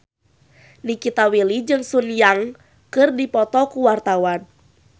Nikita Willy jeung Sun Yang keur dipoto ku wartawan